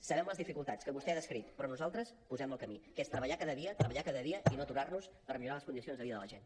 sabem les dificultats que vostè ha descrit però nosaltres posem el camí que és treballar cada dia treballar cada dia i no aturar nos per millorar les condicions de vida de la gent